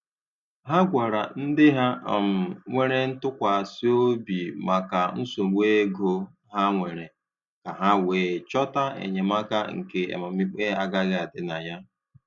Ha gwara ndị ha um nwere ntụkwasị obi maka nsogbu ego ha nwere, ka ha wee chọta enyemaka nke amamikpe agaghị adị na ya.